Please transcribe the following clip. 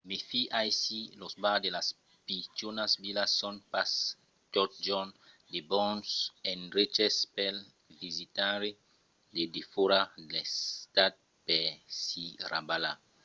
mèfi: aicí los bars de las pichonas vilas son pas totjorn de bons endreches pel visitaire de defòra l'estat per s'i rabalar